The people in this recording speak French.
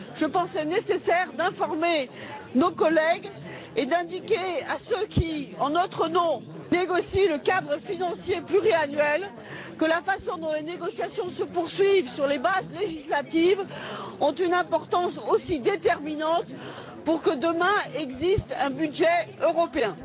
Je pensais nécessaire d'informer nos collègues et d'indiquer à ceux qui, en notre nom, négocient le cadre financier pluriannuel, que la façon dont les négociations se poursuivent sur les bases législatives a aussi une importance déterminante pour que demain existe un budget européen.